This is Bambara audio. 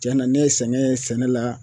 Cɛna ne ye sɛgɛn ye sɛnɛ la